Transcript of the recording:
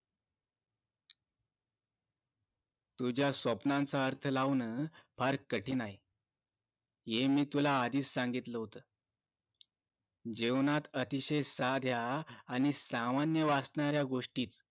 तुझ्या स्वप्नाचा अर्थ लावणं फार कठीण आहे हे मी तुला आधीच सांगितलं होत जेवणात अतिशय सोप्या आणि सामान्य वाटणाऱ्या गोष्टी